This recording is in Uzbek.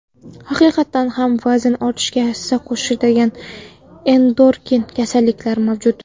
Haqiqatan ham vazn ortishiga hissa qo‘shadigan endokrin kasalliklar mavjud.